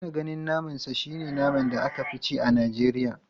Ina ganin naman sa shi ne naman da aka fi ci a Najeriya.